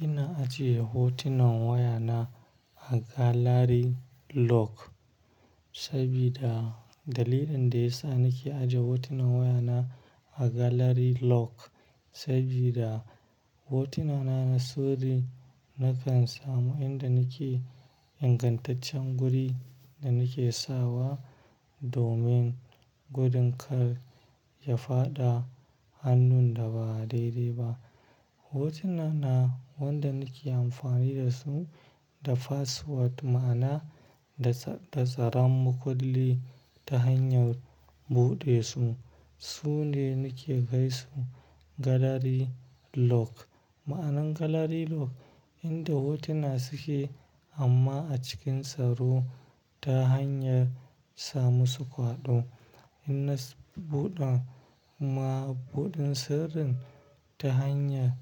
Ina ajiye hotunan wayana a galari lok, sabida dalilin da ya sa nake aje hotunan wayana a galari lok sabida hotuna na na sirri. Nakan samu inda nake ingantaccen guri da nake sawa domin gudun kar ya faɗa hannun da ba daidai ba. Hotuna na wanda nake amfani da su da password ma'ana da tsaran makulli ta hanyar buɗe su. Su ne nake kaisu galari lok. Ma'anar galari lok, inda hotuna suke amma a cikin tsaro ta hanyar samu su kwaɗo. Ina buɗa mabuɗin sirrin ta hanya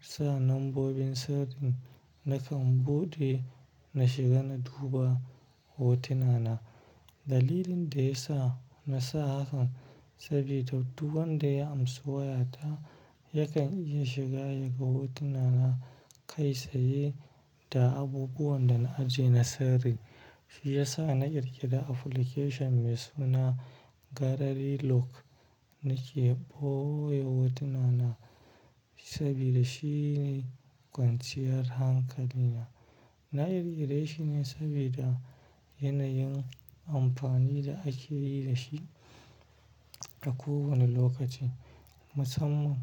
sa lambobin sirrin nakan buɗe na shiga na duba hotuna na. Dalilin da ya sa na sa hakan sabida duk wanda ya amsa wayata yakan iya shiga ya ga hotuna na kai saye da abubuwan da na ajiye na sirri. Shi ya sa na ƙirƙira application mai suna galari lok nake ɓoye hotuna na sabida shine kwanciyar hankalina. Na ƙirƙire shi ne sabida yanayin amfani da ake yi da shi a kowane lokaci. Musamman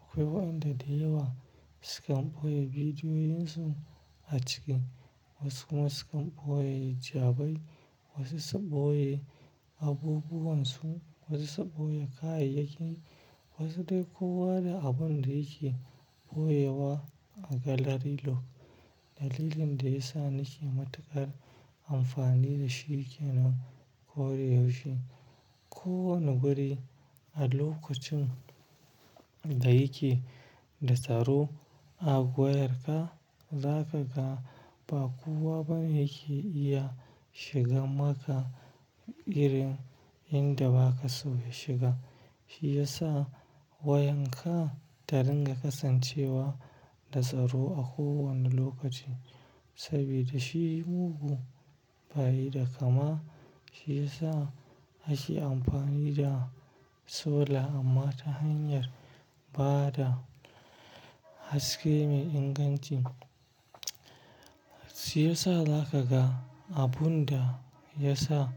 akwai wayanda da yawa sukan ɓoye bidiyoyin su a ciki, wasu kuma sukan ɓoye jabai, wasu su ɓoye abubuwan su, wasu su ɓoye kayayyakin wasu dai kowa da abun da yake ɓoyewa a galari lok. Dalilin da ya sa nake matukar amfani da shi kenan koda yaushe ko wane guri a lokacin da yake da tsaro a wayarka, zaƙa ga ba kowa bane yake iya shiga maka irin inda baka so ya shiga. Shi ya sa wayanka ta dinga kasancewa da tsaro a kowane lokaci sabida shi mugun bayi da kama. Shi ya sa ake amfani da su sola amma ta hanyar ba da haske mai inganci. Shi ya sa zaƙa ga abun da ya sa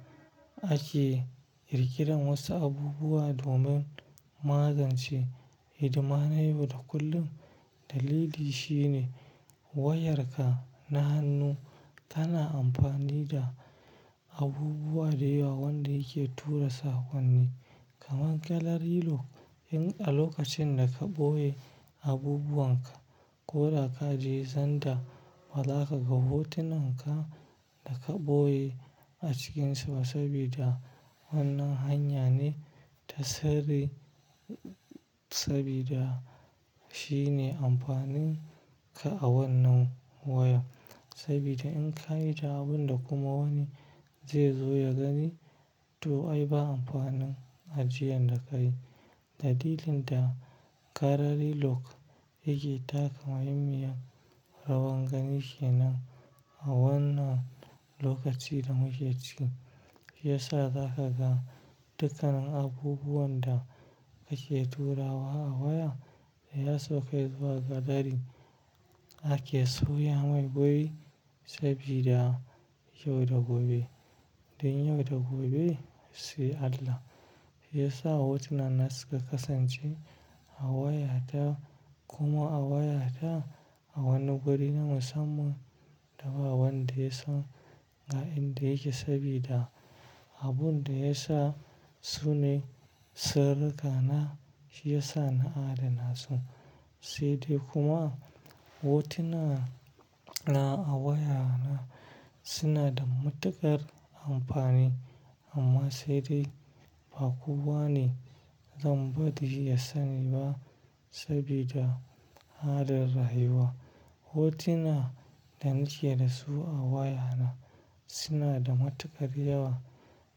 ake ƙirƙirar wasu abubuwa domin magance hidima na yau da kullum. Dalili shi ne wayarka na hannu kana amfani da abubuwa da yawa wanda yake tura sakonni. Kaman galari lok in a lokacin da ka ɓoye abubuwan ka ko da ka je zanda ba zaƙa ga hotunan ka da ka ɓoye a cikinsa sabida wannan hanya ne ta sirri sabida shine amfanin ka a wannan waya. Sabida in ka yi ta abun da kuma wani zai zo ya gani to ai ba amfanin ajiyan da kayi. Dalilin da galari lok yake taka muhimmiyar rawan gani kenan a wannan lokaci da muke ciki. Shi ya sa zaka ga dukkan abubuwan da ake turawa a waya da ya sauka zuwa galari ake sauya mai guri sabida yau da gobe, dai yau da gobe sai Allah. Shi ya sa hotuna na suka kasance a wayata kuma a wayata a wani guri na musamman da ba wanda yasan ga inda yake sabida abun da ya sa su ne sirrika na. Shi ya sa na adana su, sai dai kuma hotuna na a wayana suna da matukar amfani amma sai dai ba kowa ne zan bari ya sani ba sabida halin rayuwa. Hotuna da nake da su a wayana suna da matukar yawa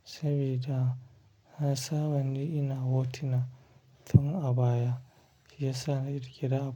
sabida nasaba ne ina hotuna tun a baya. Shi ya sa na ƙirƙira app-